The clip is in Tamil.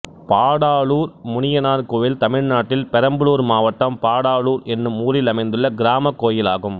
பாடாலுர் முனியனார் கோயில் தமிழ்நாட்டில் பெரம்பலூர் மாவட்டம் பாடாலுர் என்னும் ஊரில் அமைந்துள்ள கிராமக் கோயிலாகும்